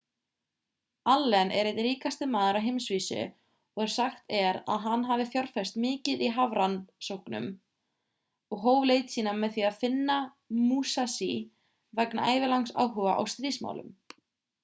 allen er einn ríkasti maður á heimsvísu og sagt er að hann hafi fjárfest mikið í hafrannsóknum og hóf leit sína með því að finna musashi vegna ævilangs áhuga á stríðsmálum